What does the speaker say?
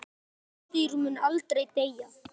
Sá orðstír mun aldrei deyja.